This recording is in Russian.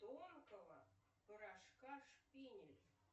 тонкого порошка шпинель